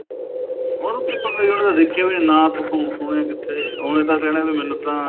ਉਹਨੂੰ ਕਿਵੇ ਪਤਾ ਉਹਨੇ ਤਾਂ ਦੇਖਿਆ ਵੀ ਨੀਂ ਨਾ ਸੁਣਿਆ ਕਿੱਥੇ ਉਹਨੇ ਤਾਂ ਕਹਿਣਾ ਵੀ ਮੈਨੂੰ